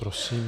Prosím.